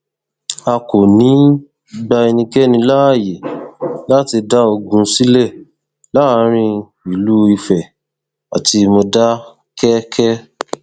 a kò ní í gba ẹnikẹni láàyè láti dá ogún sílẹ láàrin ìlú ife àti mòdákẹkẹ